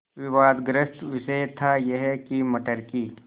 विवादग्रस्त विषय था यह कि मटर की